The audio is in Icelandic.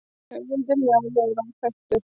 höfundur njálu er óþekktur